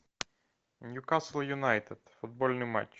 ньюкасл юнайтед футбольный матч